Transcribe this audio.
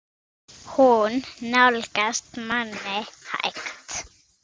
Hún nálgast manninn hægt.